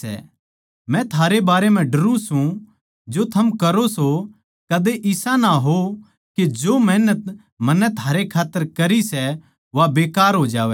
मै थारै बारै म्ह डरुं सूं जो थम करो सों कदे इसा ना हो के जो मेहनत मन्नै थारै खात्तर करी सै वा बेकार हो जावै